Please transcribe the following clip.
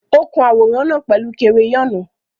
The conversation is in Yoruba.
Ó kun àwòrán náà pẹ̀lú kereyọ́nù.